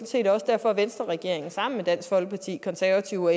set også derfor at venstreregeringen sammen med dansk folkeparti konservative og